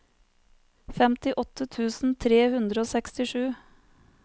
femtiåtte tusen tre hundre og sekstisju